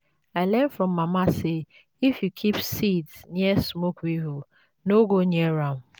i learn from mama say if you keep seeds near smoke weevils no go near am.